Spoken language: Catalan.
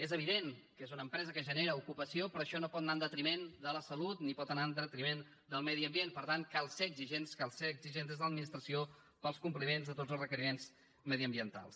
és evident que és una empresa que genera ocupació però això no pot anar en detriment de la salut ni pot anar en detriment del medi ambient per tant cal ser exigents cal ser exigents des de l’administració per als compliments de tots els requeriments mediambientals